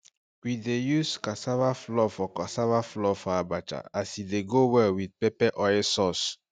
we dey use cassava flour for cassava flour for abacha e dey go well with pepper oil sauce